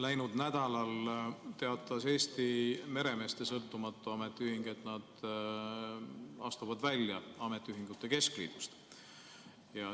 Läinud nädalal teatas Eesti Meremeeste Sõltumatu Ametiühing, et nad astuvad välja ametiühingute keskliidust.